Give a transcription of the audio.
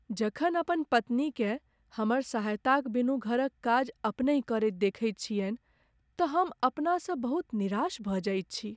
जखन अपन पत्नीकेँ हमर सहायताक बिनु घरक काज अपनहि करैत देखैत छियनि तँ हम अपनासँ बहुत निराश भऽ जाइत छी।